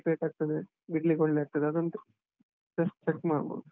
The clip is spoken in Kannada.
Light weight ಆಗ್ತದೆ, ಬಿಡ್ಲಿಕ್ ಒಳ್ಳೇ ಆಗ್ತದೆ, ಅದೊಂದು just check ಮಾಡ್ಬೋದು.